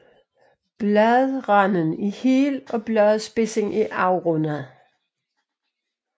Bladranden er hel og bladspidsen er afrundet